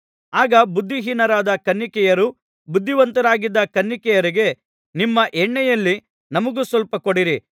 ಆಗ ಬುದ್ಧಿಹೀನರಾದ ಕನ್ನಿಕೆಯರು ಬುದ್ಧಿವಂತರಾಗಿದ್ದ ಕನ್ನಿಕೆಯರಿಗೆ ನಿಮ್ಮ ಎಣ್ಣೆಯಲ್ಲಿ ನಮಗೆ ಸ್ವಲ್ಪ ಕೊಡಿರಿ